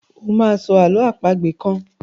o má sọ àlọ́ àpagbè kán!